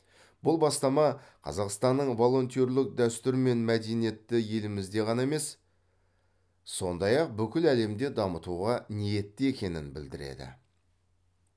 бұл бастама қазақстанның волонтерлік дәстүр мен мәдениетті елімізде ғана емес сондай ақ бүкіл әлемде дамытуға ниетті екенін білдіреді